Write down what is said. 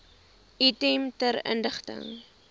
item ter inligting